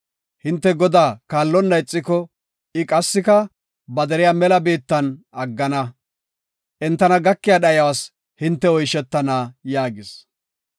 Hinte Godaa kaallonna ixiko, I qassika ba deriya mela biittan aggana. Entana gakiya dhayuwas hinte oyshetana” yaagis.